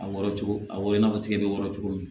A wɔrɔ cogo a wolo i n'a fɔ tigɛ bɛ wɔɔrɔ cogo min